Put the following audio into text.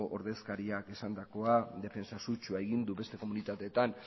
ordezkariak esandakoa defentsa sutsua egin du beste komunitateetan